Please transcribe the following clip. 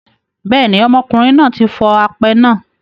Bẹ́ẹ̀ ni, ọmọkùnrin náà tí fọ apẹ náà.